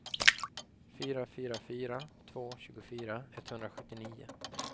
fyra fyra fyra två tjugofyra etthundrasjuttionio